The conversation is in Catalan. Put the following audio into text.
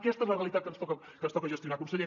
aquesta és la realitat que ens toca gestionar conseller